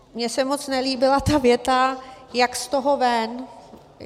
Mně se moc nelíbila ta věta, jak z toho ven.